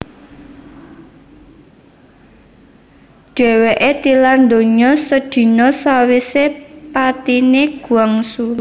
Dhèwèké tilar donya sedina sawisé patiné Guangxu